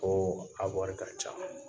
Ko a wari ka ca